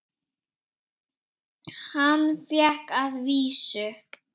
Hann fékk að vísu